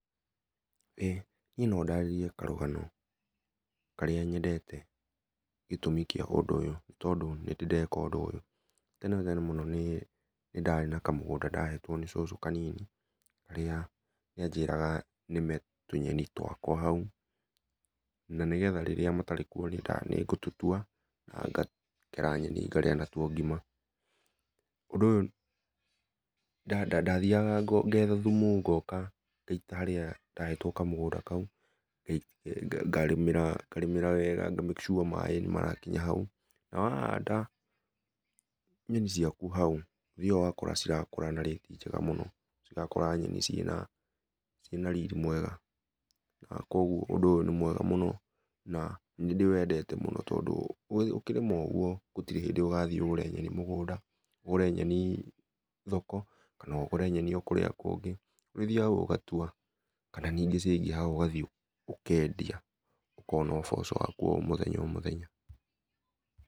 Ĩĩ niĩ no ndarĩrie karũgano karĩa nyendete gĩtũmi kĩa ũndũ ũyũ, nĩtondũ nĩndĩ ndeka ũndũ ũyũ. Tene tene mũno niĩ nĩndarĩ na kamũgũnda ndahetwo nĩ cũcũ kanini, karĩa nĩanjĩraga nĩme tũnyeni twakwa hau, na nĩgetha rĩrĩa matarĩ kuo nĩngũtũtua na ngakera nyeni ngarĩa na tuo ngima. Ũndũ ũyũ ndathiaga ngo ngetha thũmũ ngoka ngaita harĩa ndahetwo kamũgũnda kau, ngarĩmĩrĩra ngarĩmĩrĩra weega nga make sure maĩ nĩmarakinya hau, na wahanda nyenĩ ciakũ hau, ũthiaga ũgakora cĩrakũra na rĩti njega mũno cĩrakũra nyeni ciĩna ciĩna riri mwega na kuogũo ũndũ ũyũ nĩ mwega mũno, na nĩndĩwendete mũno tondũ ũkĩrĩma ũguo gũtirĩ hĩndĩ ũgathiĩ ũgũre nyeni mũgũnda ũgũre nyeni thoko, kana ũgũre nyeni o kũrĩa kũngĩ ũrĩthiaga hau ũgatua kana ningĩ ciaĩngĩha ũgathiĩ ũkendia ũkona ũboco waku wa o mũthenya o mũthenya.